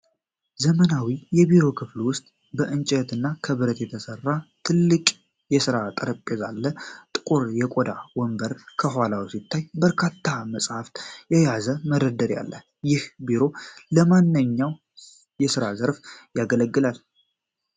ዘመናዊ የቢሮ ክፍል ውስጥ ከእንጨት እና ከብረት የተሰራ ትልቅ የስራ ጠረጴዛ አለ። ጥቁር የቆዳ ወንበር ከኋላው ሲታይ፣ በርካታ መጽሐፍትን የያዘ መደርደሪያ አለ። ይህ ቢሮ ለማንኛው የሥራ ዘርፍ ያገለግላል?